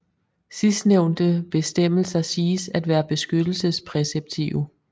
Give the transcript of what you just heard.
Sidstnævnte bestemmelser siges at være beskyttelsespræceptive